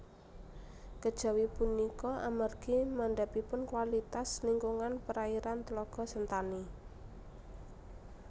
Kejawi punika amargi mandhapipun kualitas lingkungan perairan Tlaga Sentani